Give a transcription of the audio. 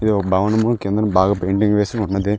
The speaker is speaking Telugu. ఇది ఒక భవనము కిందన పెయింటింగ్ వేసినట్టుంది